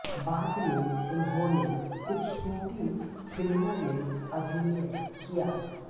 बाद में उन्होंने कुछ हिन्दी फिल्मों में अभिनय किया